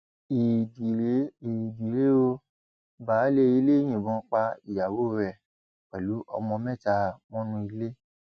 éèdì rèé éèdì rèé ó baáálé ilé yìnbọn pa ìyàwó rẹ pẹlú ọmọ mẹta mọnú ilé